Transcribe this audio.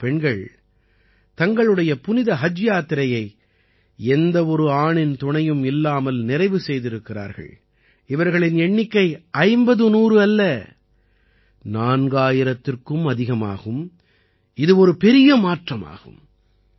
இந்தப் பெண்கள் தங்களுடைய புனித ஹஜ் யாத்திரையை எந்த ஒரு ஆணின் துணையும் இல்லாமல் நிறைவு செய்திருக்கிறார்கள் இவர்களின் எண்ணிக்கை 50100 அல்ல 4000த்திற்கும் அதிகமாகும் இது ஒரு பெரிய மாற்றமாகும்